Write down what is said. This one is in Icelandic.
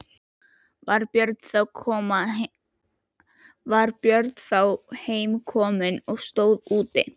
Var Björn þá heim kominn og stóð úti.